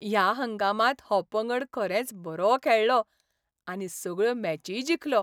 ह्या हंगामांत हो पंगड खरेंच बरो खेळ्ळो आनी सगळ्यो मॅचीय जिखलो.